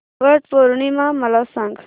वट पौर्णिमा मला सांग